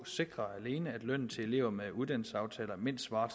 sikrer at lønnen til elever med uddannelsesaftaler mindst svarer